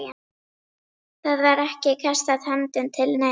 Það var ekki kastað höndum til neins.